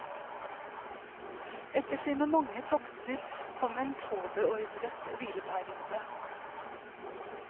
Etter sine mange tokter kom en påbeordret hvileperiode.